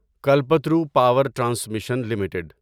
Kalpataru power transmission limited